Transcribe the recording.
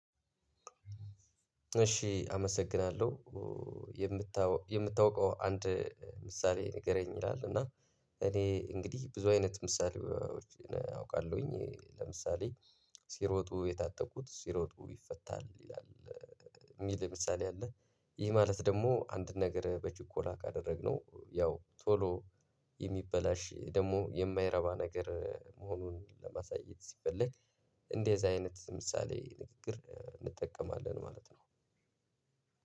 እሺ አመሰግናለሁ። የምታው የምታውቀው አንድ ምሳሌ ንገረኝ ይላል እና እኔ እንግዲህ ብዙ አይነት ምሳሌዎችን አውቃለሁኝ ለምሳሌ ሲሮጡ የታጠቁት ሲሮጡ ይፈታል ይላል የሚል ምሳሌ አለ። ይህ ማለት ደግሞ አንድ ነገር በችኮላ ካደረግነው ያው ቶሎ የሚበላሽ ደግሞ የማይረባ ነገር መሆኑን ለማሳየት ሲፈለግ እንደዚህ አይነት ምሳሌያዊ ንግግር እንጠቀማለን ማለት ነው።